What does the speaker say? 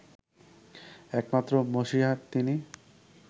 একমাত্র মসিহা তিনি